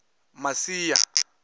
masia